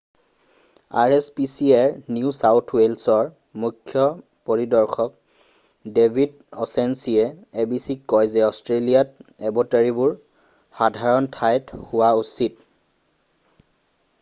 rspcaৰ New South ৱেলছৰ মুখ্য পৰিদৰ্শক ডেভিদ অ'ছানেছীয়ে abcক কয় যে অষ্ট্ৰেলিয়াত এবেটৰিবোৰ সাধাৰণ ঠাই হোৱা উচিত।